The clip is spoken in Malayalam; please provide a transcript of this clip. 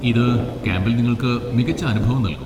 ഇത് ക്യാമ്പിൽ നിങ്ങൾക്ക് മികച്ച അനുഭവം നൽകും.